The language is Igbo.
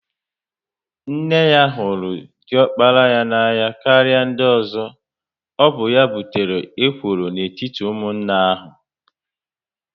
Nne ha hụrụ diokpara ya n'anya karịa ndị ozo, ọ bụ ya butere ekworo n'etiti ụmụnne ahu